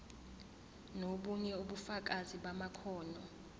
nobunye ubufakazi bamakhono